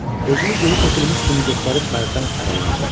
Özünü geri çəkilmiş kimi göstərib Mərrdən aralandı.